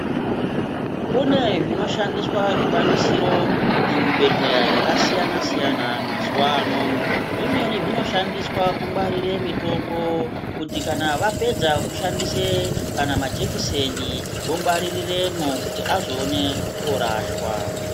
Kune zvinoshandiswa zvikwanisiro muzvibhedhlera zvakasiyana siyana mazuva ano zvimweni zvinoshandiswa kungwarira mitombo kuti kana Vapedza kushanda kana majekiseni vongwarirwmo kuti vazoona kurasha.